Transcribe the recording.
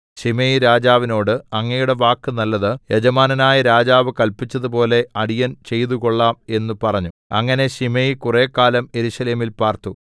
Shimei രാജാവിനോട് അങ്ങയുടെ വാക്ക് നല്ലത് യജമാനനായ രാജാവ് കല്പിച്ചതുപോലെ അടിയൻ ചെയ്തുകൊള്ളാം എന്ന് പറഞ്ഞു അങ്ങനെ ശിമെയി കുറെക്കാലം യെരൂശലേമിൽ പാർത്തു